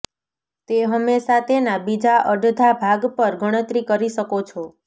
તે હંમેશા તેના બીજા અડધા ભાગ પર ગણતરી કરી શકો છો